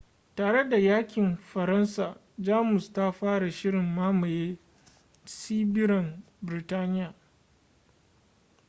tare da yakin faransa jamus ta fara shirin mamaye tsibirin biritaniya